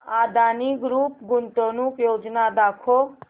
Adani group गुंतवणूक योजना दाखव